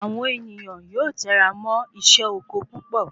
Awon ènìyàn yóò tẹra mọ isé oko púpò